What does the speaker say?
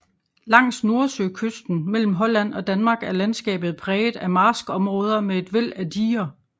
Langs nordsøkysten mellem Holland og Danmark er landskabet præget af marskområder med et væld af diger